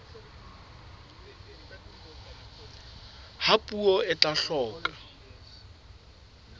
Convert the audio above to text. ba puo e tla hloka